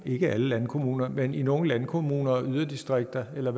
ikke i alle landkommuner men i nogle landkommuner og i yderdistrikterne eller